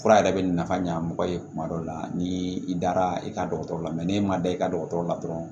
Fura yɛrɛ bɛ nafa ɲa mɔgɔ ye kuma dɔ la ni i dara i ka dɔgɔtɔrɔ la n'e ma da i ka dɔgɔtɔrɔ la dɔrɔn